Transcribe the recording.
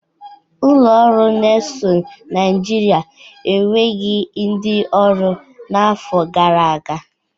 Ụlọ ọrụ Nesul Naịjịrịa eweghi ndị ọrụ n'afọ gara aga.